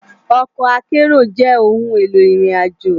Òkò àkèéró jè óoùn éló irin àjó